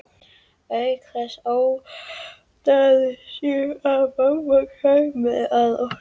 Auk þess óttaðist ég að mamma kæmi að okkur.